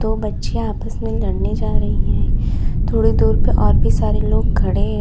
वो बच्चियां आपस में लड़ने जा रही हैं थोड़ी दूर पर और भी सारे लोग खड़े हैं।